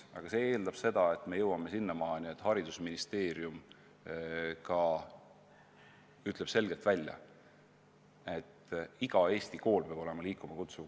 Aga see eeldab seda, et me jõuame sinnamaani, et haridusministeerium ütleb selgelt välja, et iga Eesti kool peab olema liikuma kutsuv kool.